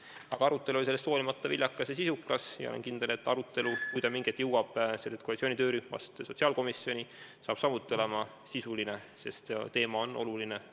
Aga arutelu oli sellest hoolimata viljakas ja sisukas ning ma olen kindel, et kui arutelu mingil hetkel koalitsiooni töörühmast sotsiaalkomisjoni jõuab, saab see sealgi olema sisuline, sest teema on oluline.